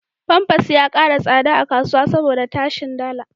Famfas ya ƙara tsada a kasuwa saboda tashin dala.